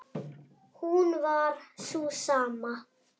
hún var sú sama.